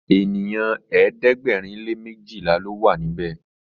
ènìyàn ẹ̀ẹ́dẹ̀gbẹ̀rin lè mejila ló wà níbè.